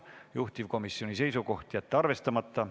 Juhtivkomisjoni seisukoht on jätta see arvestamata.